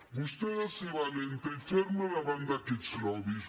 vostè ha de ser valenta i ferma davant d’aquests lobbys